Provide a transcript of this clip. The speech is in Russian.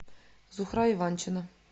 зухра иванчина